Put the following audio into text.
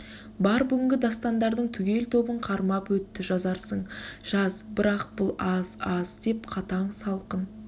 бар бүгінгі дастандардың түгел тобын қармап өтті жазарсың жаз бірақ бұл аз аз деп қатаң салқын